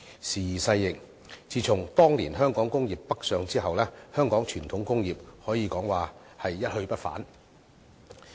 時移世易，自從當年香港工業北上之後，香港傳統工業可以說是一去不返。